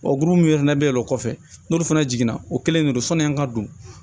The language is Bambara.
O gulon yɛrɛ be o kɔfɛ n'olu fana jiginna o kelen de don sɔni an ka don